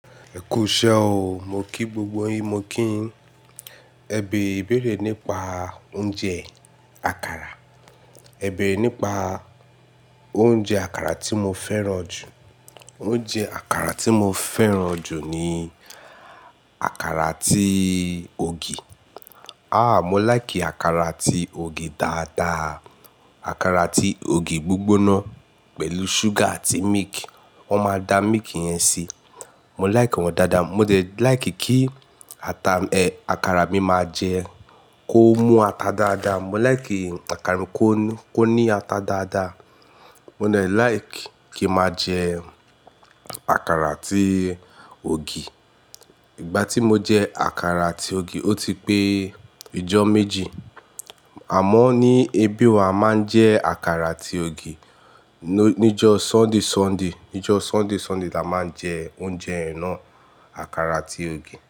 Ẹkú iṣẹ́ o. Mo kí gbogbo yin, mo kí yin. Ẹ beere ibéèrè nípa oúnjẹ àkàrà. Ẹ béèrè nípa oúnjẹ àkàrà tí mo fẹ́ràn jù. Oúnjẹ àkàrà tí mo fẹ́ràn jù ni àkàrà atí ògì. Àh! Mo láìkì àkàrà atí ògì dáadáa. Àkàrà atí ògì gbígbóná pẹ̀lú ṣúgà àti milk. Wọ́n máa da mílkì yẹn síi. Mo láìkì wọn dáadáa. Mo dẹ̀ láìkì kí ata, àkàrà mi máa jẹ, kó mú ata dáadáa. Mo láìkì àkàrà mi kó ní, kó ní ata dáadáa. Mo de láìk kí n máa jẹ àkàrà atí ògì. Ìgbà tí mo jẹ àkàrà àti ògì ó ti pé ìjọ méjì. Àmọ́ ní ibí o awa máa ń jẹ àkàrà àti ògì níjọ́ Sunday, Sunday. Níjọ́ Sunday, Sunday la máa ń jẹ oúnjẹ yen naá àkàrà àti ògì.